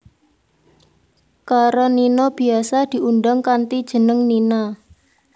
Karenina biyasa diundang kanthi jeneng Nina